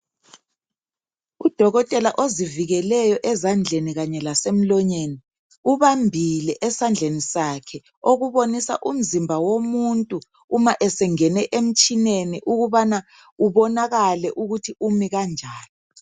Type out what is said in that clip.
Udokotela ozivikeleyo ezandleni kanye lemlonyeni ubambile esandleni sakhe okubonisa umzimba womuntu uma esengene emtshineni ukubana ubonakale ukuthi umi kanjani.